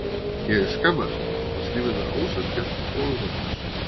Ég skammaðist mín og fannst lífið vera ósanngjarnt og vonlaust.